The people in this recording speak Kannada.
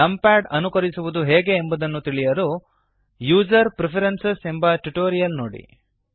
ನಂಪ್ಯಾಡ್ ಅನುಕರಿಸುವದು ಹೇಗೆ ಎಂಬುದನ್ನು ತಿಳಿಯಲು ಯುಸರ್ ಪ್ರೆಫರೆನ್ಸಸ್ ಯುಜರ್ ಪ್ರಿಫರೆನ್ಸಸ್ ಎಂಬ ಟ್ಯುಟೋರಿಯಲ್ ನೋಡಿ